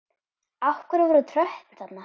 Af hverju voru tröppur þarna?